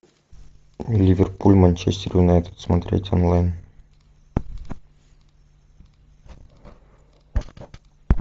ливерпуль манчестер юнайтед смотреть онлайн